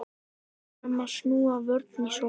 Erum að snúa vörn í sókn